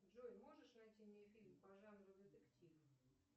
джой можешь найти мне фильм по жанру детектив